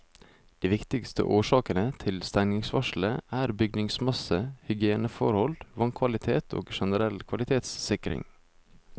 De viktigste årsakene til stengningsvarselet er bygningsmasse, hygieneforhold, vannkvalitet og generell kvalitetssikring.